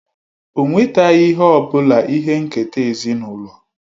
O nwetaghị ihe ọ bụla ihe nketa ezinụlọ